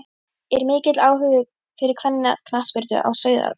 Er mikill áhugi fyrir kvennaknattspyrnu á Sauðárkróki?